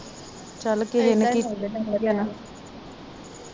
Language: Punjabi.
ਚੱਲ ਕਿਹ ਨੇ